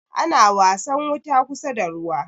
ana wasan wuta kusa da ruwa